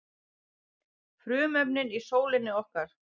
frumefnin í sólinni okkar